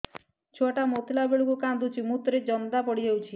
ଛୁଆ ଟା ମୁତିଲା ବେଳକୁ କାନ୍ଦୁଚି ମୁତ ରେ ଜନ୍ଦା ପଡ଼ି ଯାଉଛି